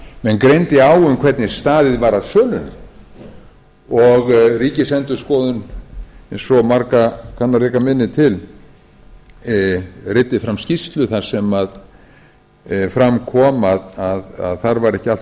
menn greindi á um hvernig staðið var að sölunni og ríkisendurskoðun eins og marga kann að reka minni til reiddi fram skýrslu þar sem fram kom að þar var ekki allt